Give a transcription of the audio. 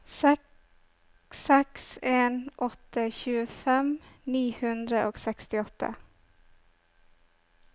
seks seks en åtte tjuefem ni hundre og sekstiåtte